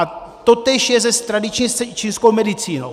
A totéž je s tradiční čínskou medicínou.